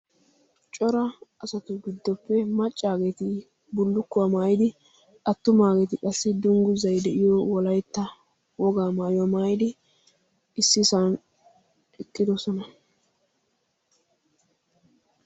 Cora asatu giddoppe maccageeti bullukkuwaa maayidi attumageeti qassi dungguzay de'iya Wolaytta wogaa maayuwa maayyidi ississan eqqidoosona.